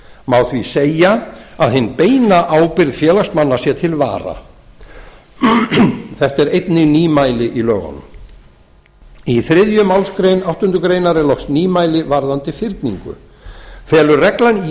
má því segja að hin beina ábyrgð félagsmanna sé til vara þetta er einnig nýmæli í lögunum í þriðju málsgrein áttundu grein er loks nýmæli varðandi fyrningu felur reglan í